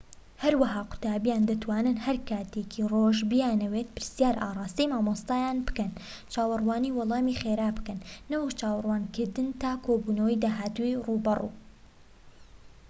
هەروەها قوتابیان دەتوانن هەر کاتێکی ڕۆژ بیانەوێت پرسیار ئاڕاستەی مامۆستایان بکەن چاوەڕوانی وەڵامی خێرا بکەن نەوەک چاوەڕوانکردن تا کۆبوونەوەی داهاتووی ڕووبەڕوو